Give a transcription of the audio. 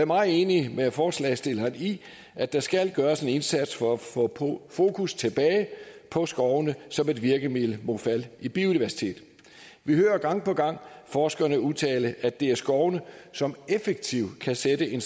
meget enig med forslagsstillerne i at der skal gøres en indsats for at få fokus tilbage på skovene som et virkemiddel mod fald i biodiversitet vi hører gang på gang forskerne udtale at det er skovene som effektivt kan sætte en